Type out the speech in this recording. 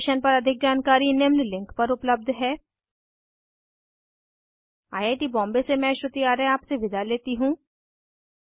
इस मिशन पर अधिक जानकारी निम्न लिंक पर उपलब्ध है 1 आई आई टी बॉम्बे से मैं श्रुति आर्य आपसे विदा लेती हूँ